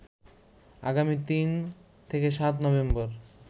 আগামী ৩-৭নভেম্বর